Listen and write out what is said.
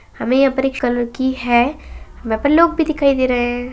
हमें यहाँ पर एक कलर की है वहाँ पर लोग भी दिखाई दे रहे हैं।